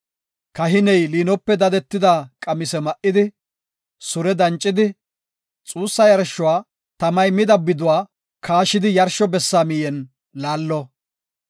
Kahiney liinope dadetida qamise ma7idi, sure dancidi, xuussa yarshuwa tamay mida biduwa kaashidi yarsho bessa miyen laallo.